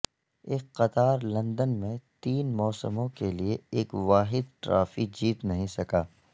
ایک قطار لندن میں تین موسموں کے لئے ایک واحد ٹرافی جیت نہیں سکا